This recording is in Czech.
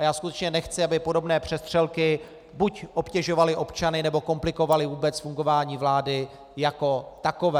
A já skutečně nechci, aby podobné přestřelky buď obtěžovaly občany, nebo komplikovaly vůbec fungování vlády jako takové.